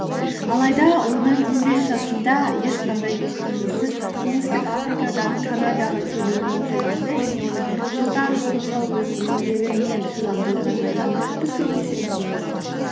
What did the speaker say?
алайда оның он бес жасында ешқандай ештеңесіз оңтүстік африкадан канадаға келуінің оқиғасы және оның жылдар бойғы өзінің еңбегі мен шыдамдылығы жайлы біз көбінесе үндемей қаламыз